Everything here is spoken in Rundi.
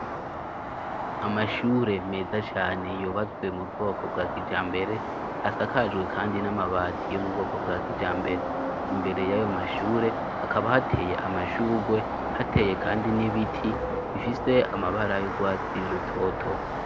Amashure meza cane yubatswe mu bwoko bwa kijambere, asakajwe kandi n'amabati yo mu bwoko bwa kijambere. Imbere y'ayo mashure hakaba hateye amashurwe, hateye kandi n'ibiti ifise amabara yurwatsi rutoto.